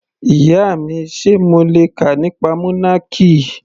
Ìyá mi, Sé mo le kà nípa monarchy?.